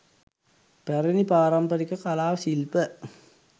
පැරැණි පාරම්පරික කලා ශිල්ප